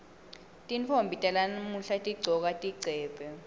tintfombi talamuhla tigcoka tigcebhe